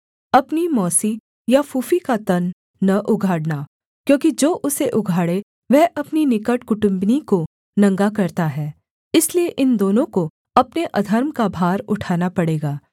अपनी मौसी या फूफी का तन न उघाड़ना क्योंकि जो उसे उघाड़े वह अपनी निकट कुटुम्बिनी को नंगा करता है इसलिए इन दोनों को अपने अधर्म का भार उठाना पड़ेगा